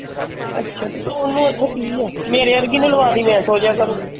ਅੱਛਾ ਤੇ ਉਹਨੂੰ ਉੱਥੇ ਕਿ ਆ। ਮੇਰੇ ਵਰਗੀ ਨੇ ਲਵਾ ਟੀ ਮੈਂ ਸੋ ਜਾਇਆ ਕਰਨਾ।